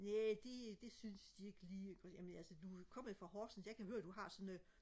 næh det det synes de ikke lige jamen altså du kommer jo fra horsens jeg kan høre du har sådan